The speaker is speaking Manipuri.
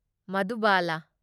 ꯃꯙꯨꯕꯂꯥ